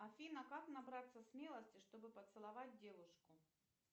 афина как набраться смелости чтобы поцеловать девушку